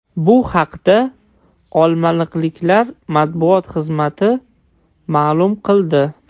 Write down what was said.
Bu haqda olmaliqliklar matbuot xizmati ma’lum qildi.